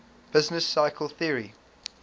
business cycle theory